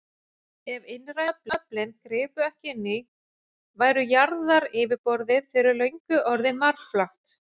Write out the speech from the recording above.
Ef innrænu öflin gripu ekki inn í, væri jarðaryfirborðið fyrir löngu orðið marflatt.